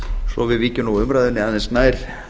svo við víkjum umræðunni aðeins nær